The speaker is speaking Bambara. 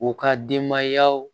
U ka denbayaw